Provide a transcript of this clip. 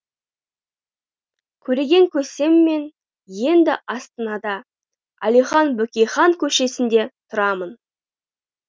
көреген көсеммен енді астанада әлихан бөкейхан көшесінде тұрамын